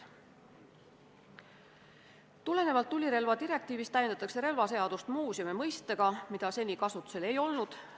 Tulenevalt tulirelvadirektiivist täiendatakse relvaseadust muuseumi mõistega, mida seni kasutusel ei olnud.